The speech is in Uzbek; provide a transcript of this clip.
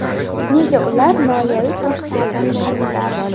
Nega ular moliyaviy tanqislikdan nolimaydi?